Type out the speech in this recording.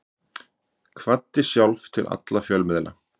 Kvaddi sjálf til alla fjölmiðla.